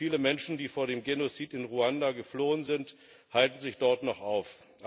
Viele Menschen, die vor dem Genozid in Ruanda geflohen sind, halten sich dort noch auf.